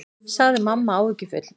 sagði mamma áhyggjufull.